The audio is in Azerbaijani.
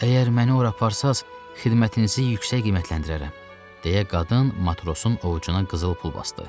Əgər məni ora aparsanız xidmətinizi yüksək qiymətləndirərəm, deyə qadın matrosun ovcuna qızıl pul basdı.